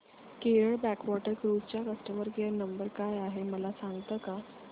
Kerala backwater cruise चा customer care number काय आहे मला सांगता का